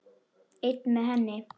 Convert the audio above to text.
Einn með henni.